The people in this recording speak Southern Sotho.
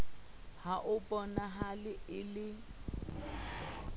ha ho bonahale e le